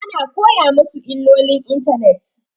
Ana koya masu illolin intanet